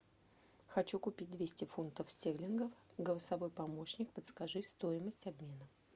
хочу купить двести фунтов стерлингов голосовой помощник подскажи стоимость обмена